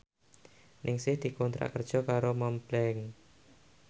Ningsih dikontrak kerja karo Montblanc